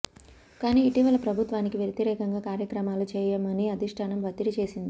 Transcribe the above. కానీ ఇటీవల ప్రభుత్వానికి వ్యతిరేకంగా కార్యక్రమాలు చేయమని అధిష్ఠానం ఒత్తిడి చేసింది